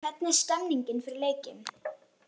Hvernig er stemmningin fyrir leikinn?